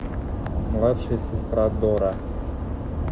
младшая сестра дора